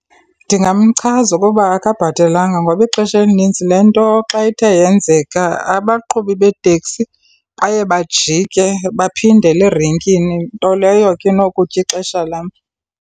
Ndingamchaza ukuba akabhatalanga. Ngoba ixesha elinintsi le nto xa ithe yenzeka abaqhubi beeteksi baye bajike baphindele erenkini, nto leyo ke inokutya ixesha lam.